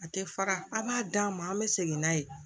A tɛ fara a b'a d'an ma an bɛ segin n'a ye